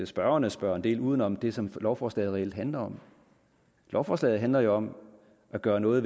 spørgerne spørger en del uden om det som lovforslaget reelt handler om lovforslaget handler jo om at gøre noget